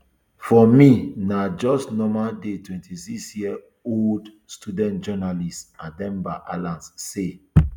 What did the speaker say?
for me na just a normal day twenty-sixyearold student journalist ademba allans say